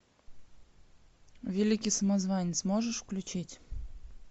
великий самозванец можешь включить